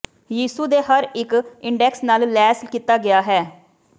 ਯਿਸੂ ਦੇ ਹਰ ਇੱਕ ਇੰਡੈਕਸ ਨਾਲ ਲੈਸ ਕੀਤਾ ਗਿਆ ਹੈ